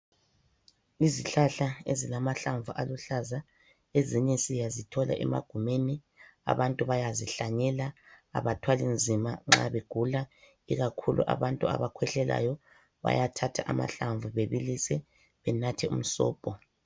Izihlahla ezilamahlamvu aluhlaza. Ezinye siyazithola emagumeni, abantu bayazihlanyela, abathwali nzima nxa begula. Ikakhulu abantu abakhwehlelayo, bayathatha amahlamvu babilise, benathe umsobho.